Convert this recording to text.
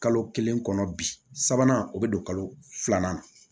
Kalo kelen kɔnɔ bi sabanan o bɛ don kalo filanan na